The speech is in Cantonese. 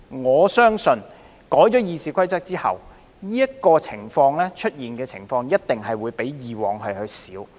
我相信在修訂《議事規則》後，這樣的情況一定會比以往較少出現。